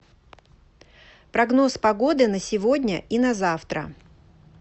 прогноз погоды на сегодня и на завтра